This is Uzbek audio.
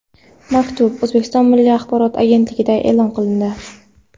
Maktub O‘zbekiston Milliy Axborot agentligida e’lon qilindi .